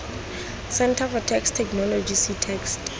centre for text technology ctext